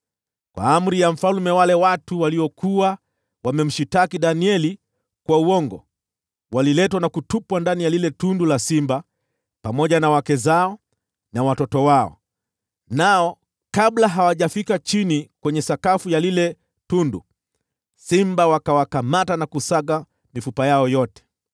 Kwa amri ya mfalme, wale watu waliokuwa wamemshtaki Danieli kwa uongo waliletwa na kutupwa ndani ya lile tundu la simba, pamoja na wake zao na watoto wao. Nao kabla hawajafika chini kwenye sakafu ya lile tundu, simba wakawakamata na kusaga mifupa yao yote.